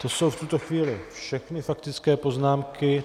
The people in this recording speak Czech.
To jsou v tuto chvíli všechny faktické poznámky.